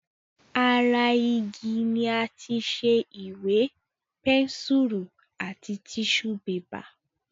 Ara igi ni àti ṣe Ìwé, pẹ́nsùrù àti tíṣù bébà